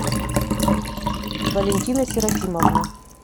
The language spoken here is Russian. валентина серафимовна